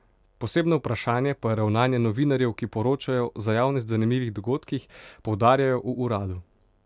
Posebno vprašanje pa je ravnanje novinarjev, ki poročajo o za javnost zanimivih dogodkih, poudarjajo v uradu.